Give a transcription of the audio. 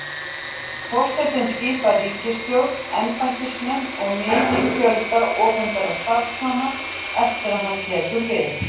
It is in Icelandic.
Forsetinn skipar ríkisstjórn, embættismenn og mikinn fjölda opinberra starfsmanna eftir að hann tekur við.